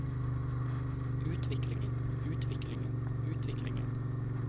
utviklingen utviklingen utviklingen